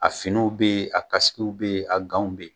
A finiw bɛ yen a kasikew bɛ yen a ganw bɛ yen